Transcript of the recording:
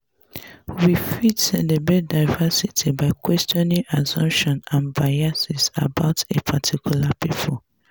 we fit celebrate diversity by questioning assumptions and biases about a particular pipo